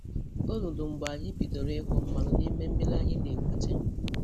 O ruru mgbe anyị bidoro ịhụ mmanụ n'ime mmiri anyị na-ekute.